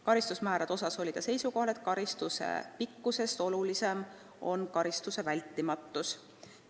Karistusmäärade osas oli ta seisukohal, et karistuse pikkusest olulisem on karistuse vältimatus.